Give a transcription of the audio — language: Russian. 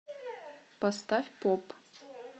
поставь поп